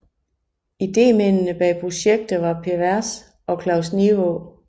Idémændene bag projektet var Per Vers og Claus Nivaa